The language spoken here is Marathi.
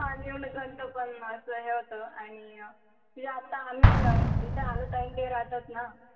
पण असं हे होत आणि म्हणजे आता आम्ही इथे अनु ताई ते राहतात ना